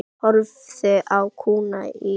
Hún horfði á kúna í keng.